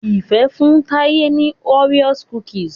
Ifẹ fún Taye ní Oreo cookies